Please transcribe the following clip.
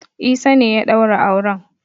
Isa ne ya daura auren.